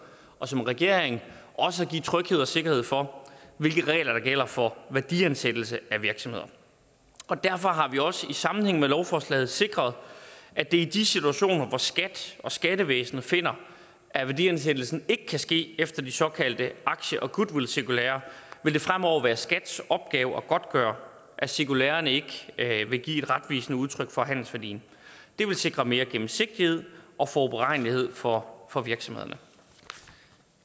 og for regeringen også at give tryghed og sikkerhed for hvilke regler der gælder for værdiansættelse af virksomheder og derfor har vi også i sammenhæng med lovforslaget sikret at det i de situationer hvor skat skattevæsenet finder at værdiansættelsen ikke kan ske efter de såkaldte aktie og goodwillcirkulærer fremover vil være skats opgave at godtgøre at cirkulærerne ikke vil give et retvisende udtryk for handelsværdien det vil sikre mere gennemsigtighed og forudberegnelighed for for virksomhederne